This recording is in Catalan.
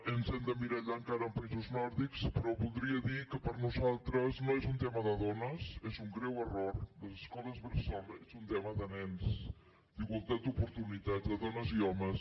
ens hem d’emmirallar encara en països nòrdics però voldria dir que per nosaltres no és un tema de dones és un greu error les escoles bressol són un tema de nens d’igualtat d’oportunitats de dones i homes